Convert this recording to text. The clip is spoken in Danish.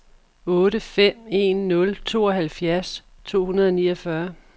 otte fem en nul tooghalvfjerds to hundrede og niogfyrre